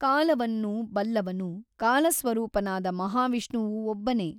ಕಾಲವನ್ನು ಬಲ್ಲವನು ಕಾಲಸ್ವರೂಪನಾದ ಮಹಾವಿಷ್ಣುವು ಒಬ್ಬನೇ.